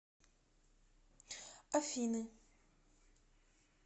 афины